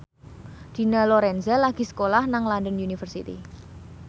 Dina Lorenza lagi sekolah nang London University